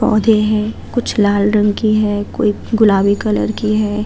पोधे है कुछ लाल रंग की है कोई गुलाबी कलर की है।